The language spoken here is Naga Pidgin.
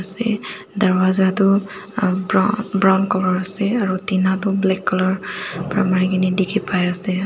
se darwaja tu aa br brown colour ase aru tina tu black colour para mari ki na dikhi pai ase.